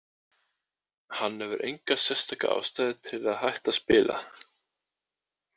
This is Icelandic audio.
Hann hefur enga sérstaka ástæðu til að hætta að spila.